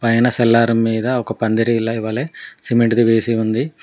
Cellar మీద ఒక పందిరిలో ఇవ్వాలే సిమెంట్ వేసి ఉంది.